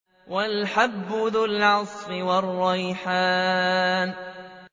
وَالْحَبُّ ذُو الْعَصْفِ وَالرَّيْحَانُ